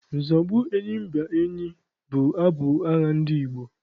Nzọgbu enyimba enyi bụ abụ agha ndị Igbo.